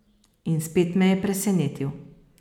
In spet me je presenetil.